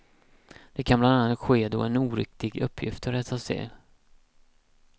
Det kan bland annat ske då en oriktig uppgift har rättats till.